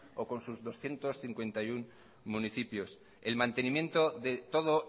o con doscientos cincuenta y uno municipios el mantenimiento de todo